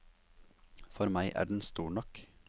For meg er den stor nok.